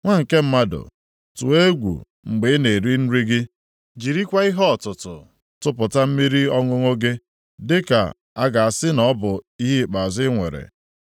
“Nwa nke mmadụ, tụọ egwu mgbe ị na-eri nri gị. Jirikwa ihe ọtụtụ tụpụta mmiri ọṅụṅụ gị, dịka a ga-asị na ọ bụ ihe ikpeazụ i nwere.